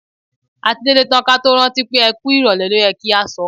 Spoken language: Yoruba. A ti délé tán ka tó rántí pé "ẹ kú ìrọ̀lẹ́ ló yẹ kí a sọ".